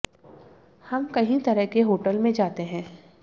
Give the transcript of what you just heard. हम कई तरह के होटल में जाते है